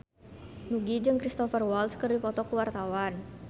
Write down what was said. Nugie jeung Cristhoper Waltz keur dipoto ku wartawan